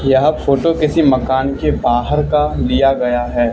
यह फोटो किसी मकान के बाहर का लिया गया है।